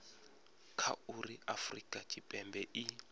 kha uri afurika tshipembe i